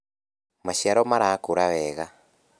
maciaro marakũra wega